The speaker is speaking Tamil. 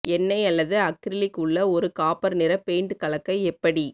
எண்ணெய் அல்லது அக்ரிலிக் உள்ள ஒரு காப்பர் நிற பெயிண்ட் கலக்க எப்படி